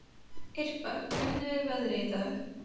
Irpa, hvernig er veðrið í dag?